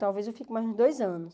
Talvez eu fique mais uns dois anos.